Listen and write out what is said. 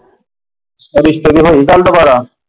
ਰਿਸ਼ਤੇ ਦੀ ਹੋਈ ਗੱਲ ਦੁਬਾਰਾ?